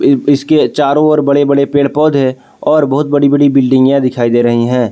इसके चारों ओर बड़े बड़े पेड़ पौधे और बहुत बड़ी बड़ी बिल्डिंगियां दिखाई दे रही है।